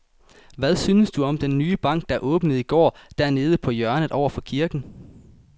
Hvad synes du om den nye bank, der åbnede i går dernede på hjørnet over for kirken?